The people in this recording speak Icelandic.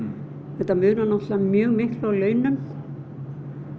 þetta munar náttúrulega mjög miklu á launum